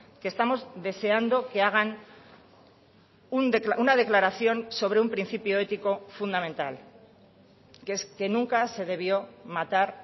que estamos deseando que hagan una declaración sobre un principio ético fundamental que es que nunca se debió matar